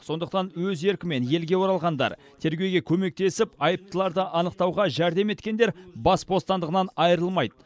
сондықтан өз еркімен елге оралғандар тергеуге көмектесіп айыптыларды анықтауға жәрдем еткендер бас бостандығынан айырылмайды